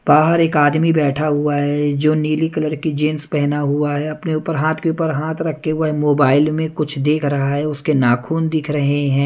बाहर एक आदमी बैठा हुआ है जो नीली कलर की जींस पहना हुआ है अपने ऊपर हाथ के ऊपर हाथ रख के वह मोबाइल में कुछ देख रहा है उसके नाखून दिख रहे हैं।